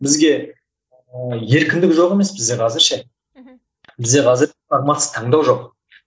бізге еркіндік жоқ емес бізде қазір ше мхм бізде қазір таңдау жоқ